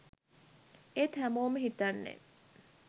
ඒත් හැමෝම හිතන්නේ